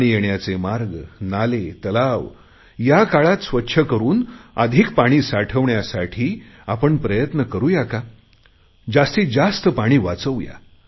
पाणी येण्याचे मार्ग नाले तलाव या काळात स्वच्छ करुन अधिक पाणी साठवण्यासाठी आपण प्रयत्न करुया का जास्तीत जास्त पाणी वाचवू या